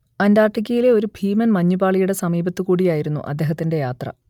അന്റാർട്ടിക്കയിലെ ഒരു ഭീമൻ മഞ്ഞുപാളിയുടെ സമീപത്തുകൂടിയായിരുന്നു അദ്ദേഹത്തിന്റെ യാത്ര